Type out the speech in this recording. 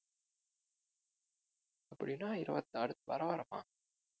அப்படின்னா இருவத்தாரு பரவாயில்லைமா